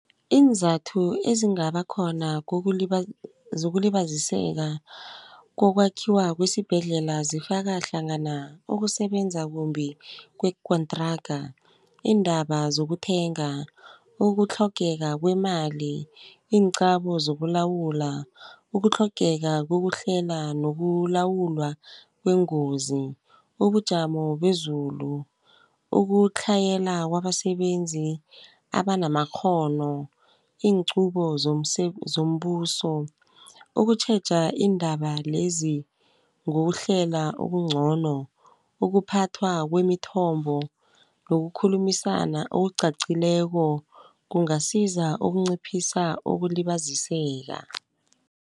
Iinzathu ezingaba khona zokulibaziseka kokwakhiwa kwesibhedlela zifaka hlangana ukusebenza kumbi kwekontraga. Iindaba zokuthenga, ukutlhogeka kwemali, iinqabo zokulawula, ukutlhogeka kokuhlela nokulawulwa kweengozi. Ubujamo bezulu, ukutlhayela kwabasebenzi abanamakghono, inxubo zombuso, ukutjheja iindaba lezi ngokuhlela okuncono, ukuphathwa kwemithombo nokukhulumisana okuqaqileko kungasiza ukunciphisa ukulibaziseka.